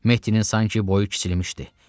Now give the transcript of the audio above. Mehtinin sanki boyu kiçilmişdi.